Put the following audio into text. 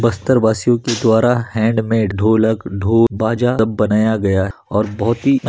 बस्तर वासियों के द्वारा हैंड मेड ढोलक ढोल बाजा सब बनाया गया और बहुत ही --